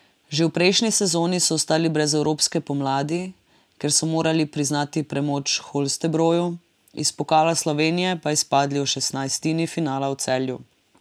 Že v prejšnji sezoni so ostali brez evropske pomladi, ker so morali priznati premoč Holstebroju, iz pokala Slovenije pa izpadli v šestnajstini finala v Celju.